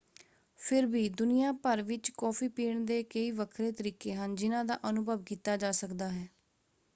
ਫਿਰ ਵੀ ਦੁਨੀਆ ਭਰ ਵਿੱਚ ਕੌਫ਼ੀ ਪੀਣ ਦੇ ਕਈ ਵੱਖਰੇ ਤਰੀਕੇ ਹਨ ਜਿਨ੍ਹਾਂ ਦਾ ਅਨੁਭਵ ਕੀਤਾ ਜਾ ਸਕਦਾ ਹੈ।